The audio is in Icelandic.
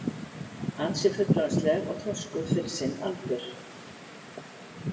Ansi fullorðinsleg og þroskuð fyrir sinn aldur.